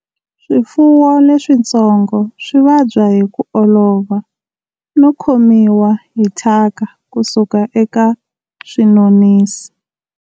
Swifuwo leswitsongo swi vabya hi ku olova no khomiwa hi thyaka ku suka eka swinonisi.